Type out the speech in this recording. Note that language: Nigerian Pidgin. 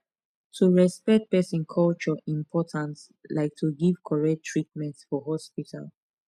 to respect person culture important like to give correct treatment for hospital